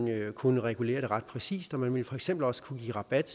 kunne regulere det ret præcist og man vil for eksempel også kunne give rabat